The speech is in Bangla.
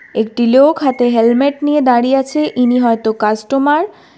একটি লোক হাতে হেলমেট নিয়ে দাঁড়িয়ে আছে ইনি হয়তো কাস্টমার ।